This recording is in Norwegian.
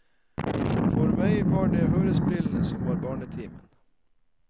For meg var det hørespillene som var barnetimen.